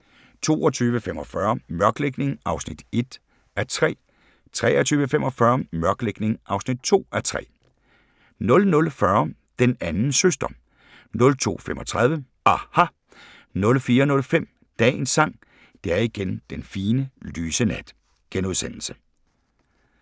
22:45: Mørklægning (1:3) 23:45: Mørklægning (2:3) 00:40: Den anden søster 02:35: aHA! * 04:05: Dagens Sang: Det er igen den fine, lyse nat *